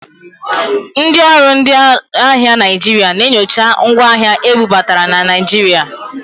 Ndị ọrụ ndị ahịa Naịjirịa na-enyocha ngwa ahịa ebubata na Naịjirịa.